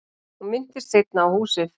Hún minntist seinna á húsið.